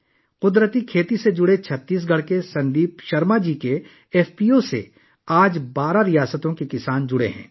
قدرتی کھیتی سے وابستہ چھتیس گڑھ کے سندیپ شرما کے ایف پی او میں 12 ریاستوں کے کسان شامل ہوئے ہیں